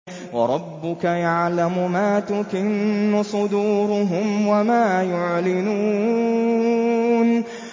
وَرَبُّكَ يَعْلَمُ مَا تُكِنُّ صُدُورُهُمْ وَمَا يُعْلِنُونَ